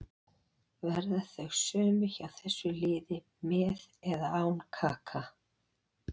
Verða þau sömu hjá þessu liði með eða án Kaka.